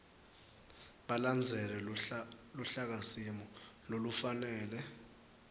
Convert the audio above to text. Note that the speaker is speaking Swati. balandzele luhlakasimo lolufanele